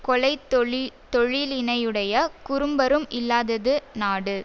கொலை தொழி தொழிலினையுடைய குறும்பரும் இல்லாதது நாடு